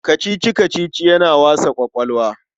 Kacici-kacici yana wasa ƙwaƙwalwa.